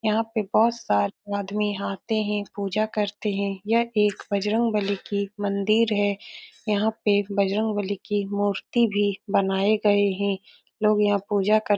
यहाँ पे बोहोत सारे आदमी यहाँ आते हैं पूजा करते हैं। यह एक बजरंग बली की मंदिर है। यहाँ पे एक बजरंग बली की मूर्ति भी बनाए गए हैं। लोग यहाँ पूजा कर --